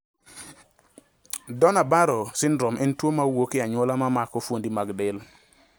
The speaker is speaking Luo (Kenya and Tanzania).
Donnai Barrow syndrome en tuo mawuok e anyuola mamako fuondi mag del